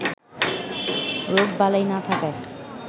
রোগবালাই না থাকায়